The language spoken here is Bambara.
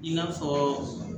I n'a fɔ